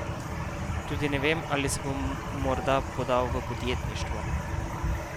Tudi ne vem, ali se bom morda podal v podjetništvo.